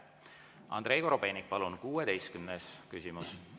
Andrei Korobeinik, palun, 16. küsimus!